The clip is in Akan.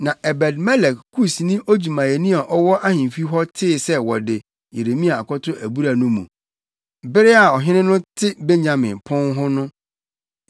Na Ebed-Melek + 38.7 Ebed-Melek—Ɛkyerɛ “ahenkwaa”. Kusni odwumayɛni a ɔwɔ ahemfi hɔ tee sɛ wɔde Yeremia akɔto abura no mu. Bere a ɔhene no te Benyamin Pon hɔ no,